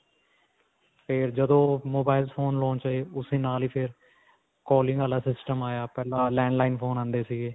ਫਿਰ ਜਦੋਂ mobile phone launch ਹੋਏ, ਉਸਦੇ ਨਾਲ ਹੀ ਫਿਰ calling ਵਾਲਾ system ਆਇਆ ਪਹਿਲਾਂ landline phone ਆਉਂਦੇ ਸੀਗੇ.